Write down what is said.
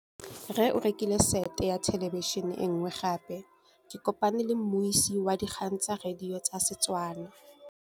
Rre o rekile sete ya thêlêbišênê e nngwe gape. Ke kopane mmuisi w dikgang tsa radio tsa Setswana.